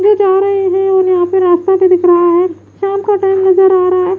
जो जा रहे है उन्हे यहां पे रास्ता भी दिख रहा है शाम का टाइम नजर आ रहा--